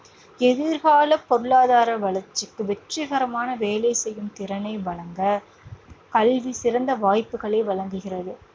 எதிர்கால பொருளாதார வளர்ச்சிக்கு வெற்றிகரமான வேலை செய்யும் திறனை வழங்கக் கல்வி சிறந்த வாய்ப்புகளை வழங்குகிறது.